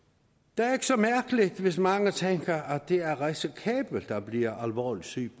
det er ikke så mærkeligt hvis mange tænker at det er risikabelt at blive alvorligt syg